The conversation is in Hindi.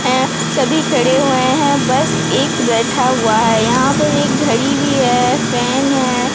है सभी खड़े हुए हैं बस एक बैठा हुआ है यहां पर एक घड़ी भी है फैन है।